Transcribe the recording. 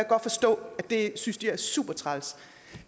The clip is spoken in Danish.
godt forstå at de synes at det er super træls